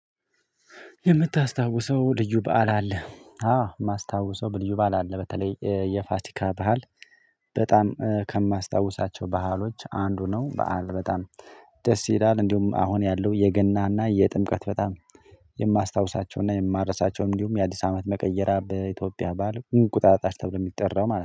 የምታስታውሰው ልዩ በዓል አለ አዎ የማስታውሰው በልዩ በዓል አለ በተለይ የፋሲካ ባዓል በጣም ከማስታውሳቸው ባአሎች አንዱ ነው። በዓል በጣም ደስ ይላል። እንዲሁም አሁን ያለው የገናና የጥምቀት በጣም የማስታውሳቸውና የማረሳቸውም እንዲሁም የአዲስ አመት መቀየሪያ በኢትዮጵያ ባዓል እቁጣጣሽ ተብሎ የሚጠራው ማለት ነው